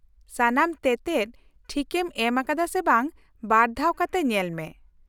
-ᱥᱟᱱᱟᱢ ᱛᱮᱛᱮᱫ ᱴᱷᱤᱠᱮᱢ ᱮᱢ ᱟᱠᱟᱫᱟ ᱥᱮ ᱵᱟᱝ ᱵᱟᱨ ᱫᱷᱟᱣ ᱠᱟᱛᱮ ᱧᱮᱞᱢᱮ ᱾